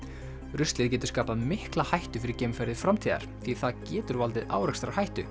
ruslið getur skapað mikla hættu fyrir geimferðir framtíðar því það getur valdið